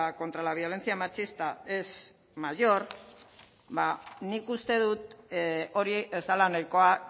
contra la violencia machista es mayor ba nik uste uste dut hori ez dela nahikoa